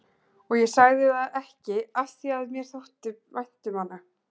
Og ég sagði það ekki afþvíað mér þótti vænt um hana.